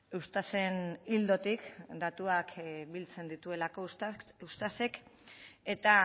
eustaten ildotik datuak biltzen dituelako eustatek eta